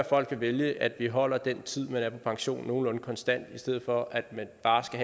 folk vælge at vi holder den tid man er på pension nogenlunde konstant i stedet for at man bare skal